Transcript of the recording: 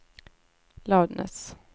loudness